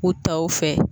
U taw fɛ